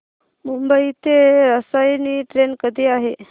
मुंबई ते रसायनी ट्रेन कधी आहे